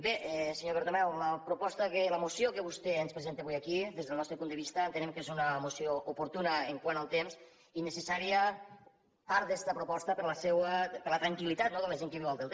bé senyor bertomeu la proposta la moció que vostè ens presenta avui aquí des del nostre punt de vista entenem que és una moció oportuna quant al temps i necessària part d’esta proposta per a la tranquil·litat no de la gent que viu al delta